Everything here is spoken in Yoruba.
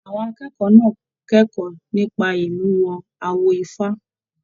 Àwọn akẹ́kọ̀ọ́ náà kẹkọọ nípa imuwọ̀ awo ifá.